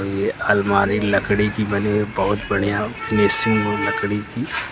ये अलमारी लकड़ी की बनी हुई बहुत बढ़िया फिनिशिंग है लकड़ी की।